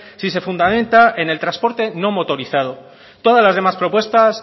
si se fundamenta en el transporte no motorizado todas las demás propuestas